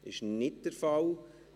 – Das ist nicht der Fall.